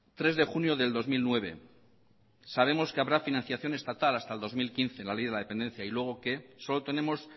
tres de junio del dos mil nueve sabemos que habrá financiación estatal hasta el dos mil quince en la ley de la dependencia y luego qué solo tenemos